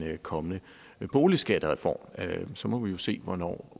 kommende boligskattereform så må vi jo se hvornår